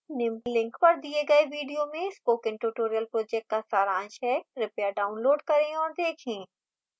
निम्न link पर the गए video में spoken tutorial project का सारांश है कृपया download करें और देखें